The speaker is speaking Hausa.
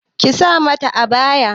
Ki sa ka mata abaya!